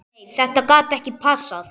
Nei þetta gat ekki passað.